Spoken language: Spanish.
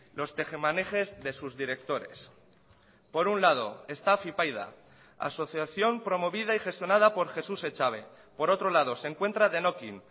los tejemanejes de sus directores por un lado está afypaida asociación promovida y gestionada por jesús echave por otro lado se encuentra denokin